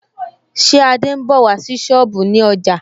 Ṣé Adé ń bọ̀ wá sí sọ́ọ̀bù ní ọjà